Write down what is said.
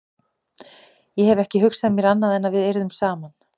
Ég hef ekki hugsað mér annað en að við yrðum saman.